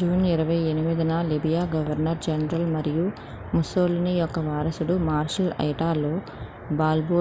June 28న Libya governor general మరియు Mussolini యొక్క వారసుడు మార్షల్ ఇటాలో బాల్బో